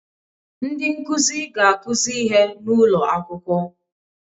Ndị nkuzi ga-akụzi ihe n'ụlọ akwụkwọ